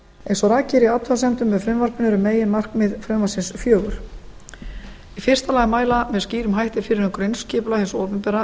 eins og rakið er í athugasemdum með frumvarpinu eru meginmarkmið frumvarpsins fjögur í fyrsta lagi að mæla með skýrum hætti fyrir um grunnskipulag hins opinbera